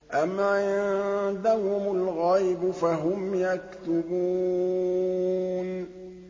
أَمْ عِندَهُمُ الْغَيْبُ فَهُمْ يَكْتُبُونَ